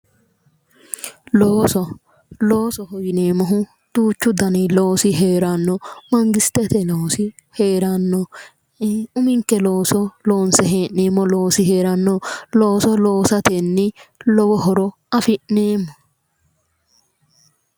Looso loosoho yineemmohu duuchu dani heeranno, mangistete loosi heeranno, uminke looso loonse hee'neemmo loosi heeranno. looso loosatenni lowo horo afi'neemmo.